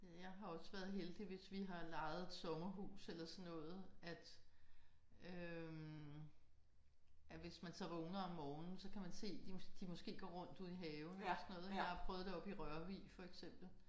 Ja jeg har også være heldig hvis vi har lejet et sommerhus eller sådan noget at øh at hvis man så vågner om morgenen så kan man se de de måske går rundt ude i haven eller sådan noget ik. Jeg har prøvet det oppe i Rørvig for eksempel